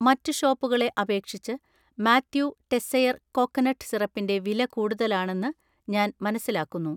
മറ്റ് ഷോപ്പുകളെ അപേക്ഷിച്ച് മാത്യൂ ടെസ്സെയർ കോക്കനട്ട് സിറപ്പിൻ്റെ വില കൂടുതലാണെന്ന് ഞാൻ മനസ്സിലാക്കുന്നു.